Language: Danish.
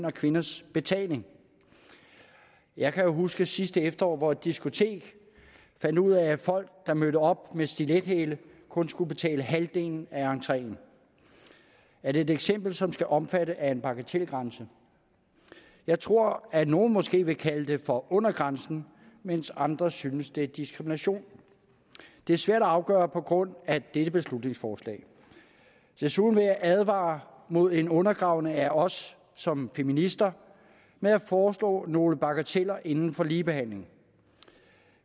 og kvinders betaling jeg kan jo huske sidste efterår hvor et diskotek fandt ud af at folk der mødte op med stilethæle kun skulle betale halvdelen af entreen er det et eksempel som skal omfattes af en bagatelgrænse jeg tror at nogle måske vil kalde det for under grænsen mens andre synes det er diskrimination det er svært at afgøre på baggrund af dette beslutningsforslag desuden vil jeg advare mod en undergravning af os som feminister når jeg foreslår nogle bagateller inden for ligebehandling